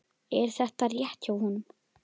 Er þetta rétt hjá honum?